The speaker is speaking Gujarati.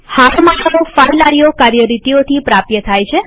હારમાળાઓ ફાઈલ આઈઓ કાર્યરીતિઓથી પ્રાપ્ય થાય છે